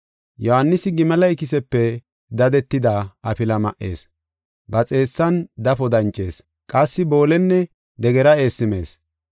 Yohaanisi gimale ikisepe dadetida afila ma77ees. Ba xeessan dafo dancees; qassi boolenne degera eessi mees.